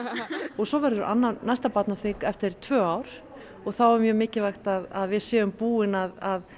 svo verður næsta barnaþing eftir tvö ár og þá er mjög mikilvægt að við séum búin að